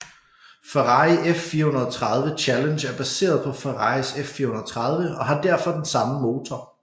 Ferrari F430 Challenge er baseret på Ferraris F430 og har derfor den samme motor